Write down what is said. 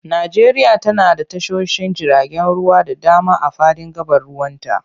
Najeriya tana da tashoshin jiragen ruwa da dama a fadin gabar ruwanta.